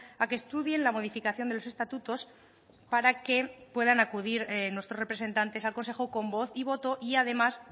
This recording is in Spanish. a que estudien la modificación de los estatutos para que puedan acudir nuestros representantes al consejo con voz y voto y además